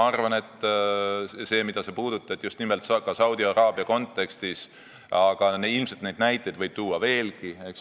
Sa puudutasid Saudi-Araabiat, aga neid näiteid võib tuua veelgi.